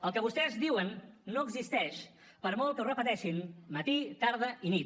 el que vostès diuen no existeix per molt que ho repeteixin matí tarda i nit